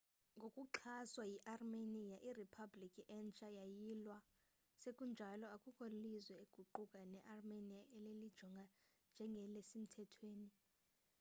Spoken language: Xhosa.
ngokuxhaswa yiarmenia iriphablikhi entsha yayilwa sekunjalo akukho lizwe kuquka nearmenia elilijonga njengelisemthethweni